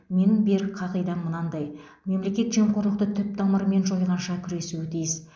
менің берік қағидам мынадай мемлекет жемқорлықты түп тамырымен жойғанша күресуі тиіс